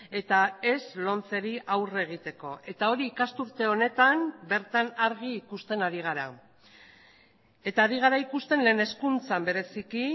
eta ez lomceri aurre egiteko eta hori ikasturte honetan bertan argi ikusten ari gara eta ari gara ikusten lehen hezkuntzan bereziki